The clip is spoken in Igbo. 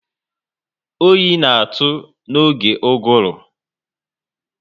Oyi na atụ n'oge uguru